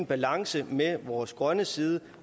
balance med vores grønne side